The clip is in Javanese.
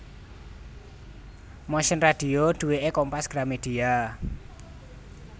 Motion Radio duweke Kompas Gramedia